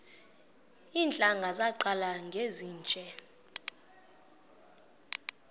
iintlanga zaqala ngezinje